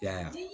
I y'a ye